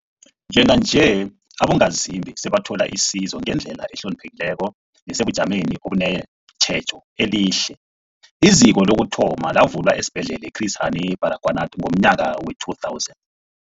Njenganje, abongazimbi sebathola isizo ngendlela ehloniphekileko nesebujameni obunetjhejo elihle. IZiko lokuthoma lavulwa esiBhedlela i-Chris Hani Baragwanath ngomnyaka we-2000.